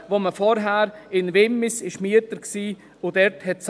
Zuvor war man in Wimmis Mieter und hat das bezahlt.